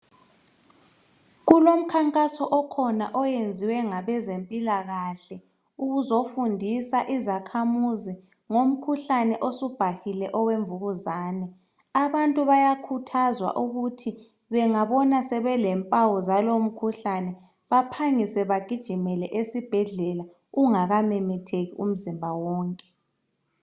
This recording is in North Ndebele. Kulomkhankaso okhona oyenziwe ngabezempilakahle, ukuzofundisa izakhamuzi ngomkhuhlane osubhahile owemvukuzane. Abantu bayakhuthazwa ukuthi bengabona sebelempawu zalowomkhuhlane baphangise bagijimele esibhedlela ungakamemetheki umzimba wonke.